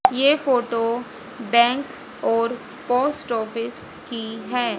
ये photo bank और post office की है।